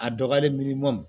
A dɔgɔyalen mi miliyɔn